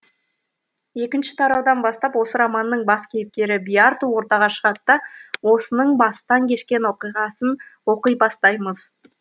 екінші тараудан бастап осы романның бас кейіпкері биарту ортаға шығады да осының бастан кешкен оқиғасын оқи бастаймыз